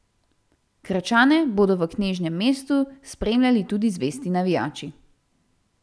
Krčane bodo v knežjem mestu spremljali tudi zvesti navijači.